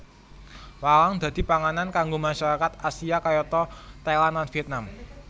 Walang dadi panganan kanggo masyarakat Asia kayata Thailand lan Vietnam